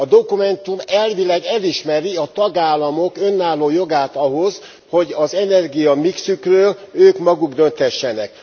A dokumentum elvileg elismeri a tagállamok önálló jogát ahhoz, hogy az energiamixükről ők maguk dönthessenek.